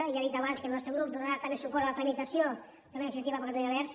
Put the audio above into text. i ja he dit abans que el nostre grup donarà també suport a la tramitació de la d’iniciativa per catalunya verds